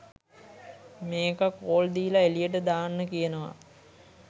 මේකා කෝල් දීල එළියට දාන්න කියනවා.